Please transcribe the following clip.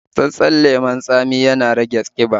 Matsatssen lemon tsami ya na rage ƙiba